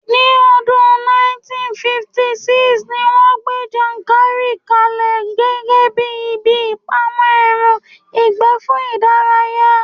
Ní odun 1956, ni wón gbé Yankari ka lẹ̀ gẹ́gẹ́bíi ibi ìpamọ́ ẹran ìgbẹ́ fún ìdárayá